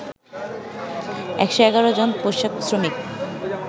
১১১ জন পোশাক শ্রমিক